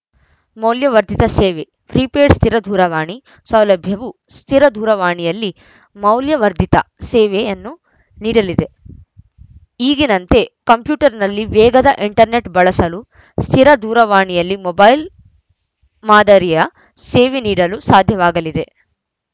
ಮೌಲ್ಯವರ್ಧಿತ ಸೇವೆ ಪ್ರೀಪೇಯ್ಡ್‌ ಸ್ಥಿರ ದೂರವಾಣಿ ಸೌಲಭ್ಯವು ಸ್ಥಿರ ದೂರವಾಣಿಯಲ್ಲಿ ಮೌಲ್ಯವರ್ಧಿತ ಸೇವೆಯನ್ನು ನೀಡಲಿದೆ ಈಗಿನಂತೆ ಕಂಪ್ಯೂಟರ್‌ನಲ್ಲಿ ವೇಗದ ಇಂಟರ್‌ನೆಟ್‌ ಬಳಸಲು ಸ್ಥಿರ ದೂರವಾಣಿಯಲ್ಲಿ ಮೊಬೈಲ್‌ ಮಾದರಿಯ ಸೇವೆ ನೀಡಲು ಸಾಧ್ಯವಾಗಲಿದೆ